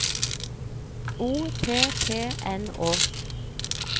O P P N Å